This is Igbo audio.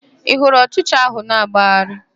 Ị hụrụ ọchịcha ahụ na-agbagharị?